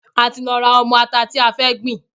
A ti lọ ra ọmọ ata tí a fẹ́ gbìn.